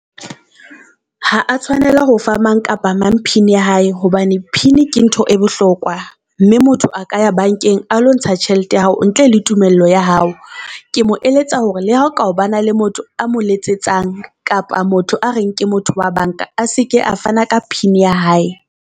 Ha a tshwanela ho fa mang kapa mang pin ya hae hobane pin ke ntho e bohlokwa, mme motho a ka ya bank-eng a lo ntsha tjhelete ya hao ntle le tumello ya hao. Ke mo eletsa hore le hao ka bana le motho a mo letsetsang kapa motho a re nke motho wa bank-a seke a fana ka pin ya hae.